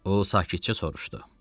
O sakitcə soruşdu.